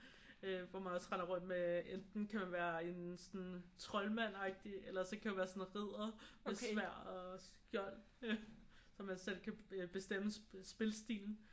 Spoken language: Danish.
Øh hvor man også render rundt med enten kan man være en sådan troldmand-agtigt eller også kan man være sådan en ridder med sværd og skjold. Så man selv kan bestemme spilstilen